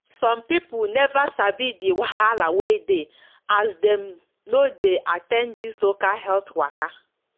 some people never sabi de wahala wey dey as dem no de at ten d this local health waka